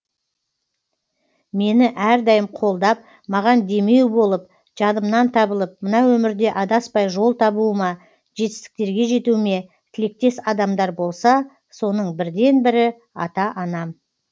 мені әрдайым қолдап маған демеу болып жанымнан табылып мына өмірде адаспай жол табуыма жетістіктерге жетуіме тілектес адамдар болса соның бірден бірі ата анам